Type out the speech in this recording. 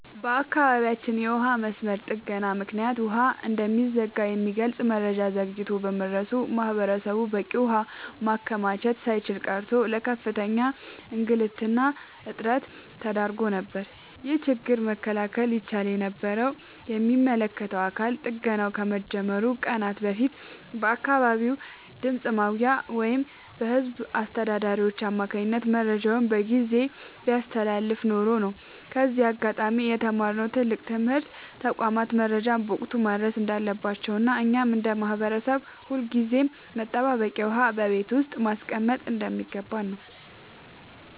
በአካባቢያችን የውሃ መስመር ጥገና ምክንያት ውሃ እንደሚዘጋ የሚገልጽ መረጃ ዘግይቶ በመድረሱ ማህበረሰቡ በቂ ውሃ ማከማቸት ሳይችል ቀርቶ ለከፍተኛ እንግልትና እጥረት ተዳርጎ ነበር። ይህንን ችግር መከላከል ይቻል የነበረው የሚመለከተው አካል ጥገናው ከመጀመሩ ከቀናት በፊት በአካባቢው ድምፅ ማጉያ ወይም በህዝብ አስተዳዳሪዎች አማካኝነት መረጃውን በጊዜ ቢያስተላልፍ ኖሮ ነው። ከዚህ አጋጣሚ የተማርነው ትልቅ ትምህርት ተቋማት መረጃን በወቅቱ ማድረስ እንዳለባቸውና እኛም እንደ ማህበረሰብ ሁልጊዜም መጠባበቂያ ውሃ በቤት ውስጥ ማስቀመጥ እንደሚገባን ነው።